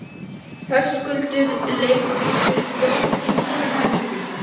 Höskuldur leigubílstjóri bjó í hinum helmingnum.